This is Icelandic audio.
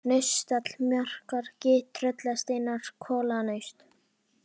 Naustáll, Markraki, Tröllasteinar, Kolanaust